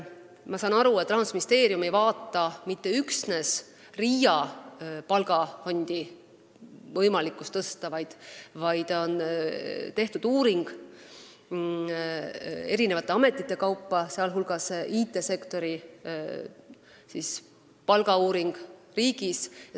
Ma saan aru, et Rahandusministeeriumis ei arutata mitte üksnes võimalikkust tõsta RIA palgafondi, vaid on tehtud uuring eri ametite kaupa, sh IT-sektori palgauuring riigis.